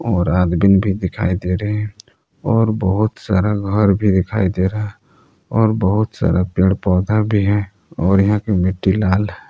और आदमीन भी दिखाई दे रहे हैं और बहुत सारा घर भी दिखाई दे रहा है और बहुत सारा पेड़ पौधा भी है यहां की मिट्टी लाल है।